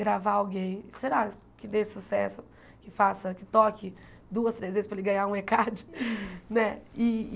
gravar alguém, será que dê sucesso, que faça, que toque duas, três vezes para ele ganhar um Ê card, né?